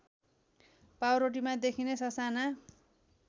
पाउरोटीमा देखिने ससाना